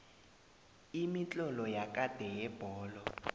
imitlolo yakade yezebholo